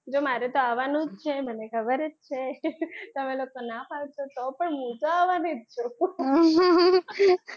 જો મારે તો આવવાનું જ છે ને ખબર જ છે ને તમે લોકો ના પાડશો તો પણ હું તો આવવાની જ છું